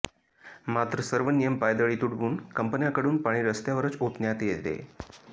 मात्र सर्व नियम पायदळी तुडवून कंपन्याकडून पाणी रस्त्यावरच ओतण्यात येते